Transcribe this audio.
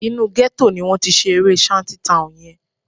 Inú gẹ́tò ni wọ́n ti ṣe eré Shanty Town yẹn